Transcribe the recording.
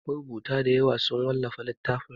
Marubuta dayawa sun wallafa littatafansu.